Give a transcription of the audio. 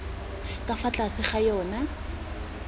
ka fa tlase ga yona